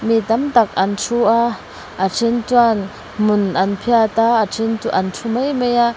mi tam tak an thu a a then chuan hmun an phiat a a then chu an thu mai mai a.